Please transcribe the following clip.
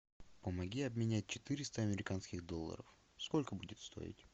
помоги обменять четыреста американских долларов сколько будет стоить